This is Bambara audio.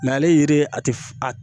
ale ye a ti f a